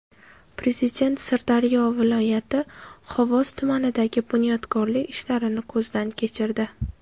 Prezident Sirdaryo viloyati Xovos tumanidagi bunyodkorlik ishlarini ko‘zdan kechirdi.